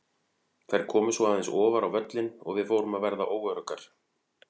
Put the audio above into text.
Þær komu svo aðeins ofar á völlinn og við fórum að verða óöruggar.